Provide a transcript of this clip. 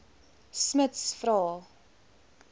smuts vra